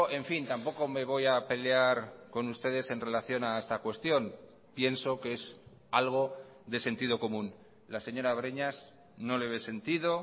en fin tampoco me voy a pelear con ustedes en relación a esta cuestión pienso que es algo de sentido común la señora breñas no le ve sentido